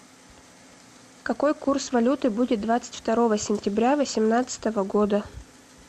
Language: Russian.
какой курс валюты будет двадцать второго сентября восемнадцатого года